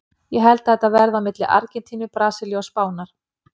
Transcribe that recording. Ég held að þetta verði á milli Argentínu, Brasilíu og Spánar.